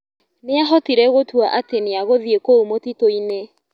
Nĩahotire gũtua atĩ nĩagũthiĩ kũu mũtitũinĩ.